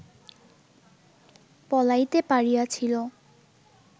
পলাইতে পারিয়াছিল